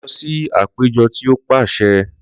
Lọ si apejọ ti o paṣẹ!